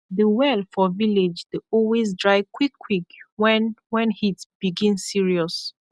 the well for village dey always dry quick quick when when heat begin serious